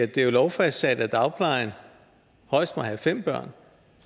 det er lovfastsat at dagplejen højst må have fem børn